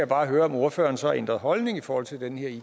bare høre om ordføreren så har ændret holdning i forhold til den